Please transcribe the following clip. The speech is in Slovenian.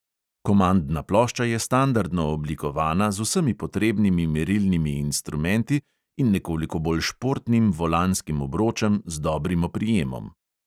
Komandna plošča je standardno oblikovana z vsemi potrebnimi merilnimi instrumenti in nekoliko bolj športnim volanskim obročem z dobrim oprijemom.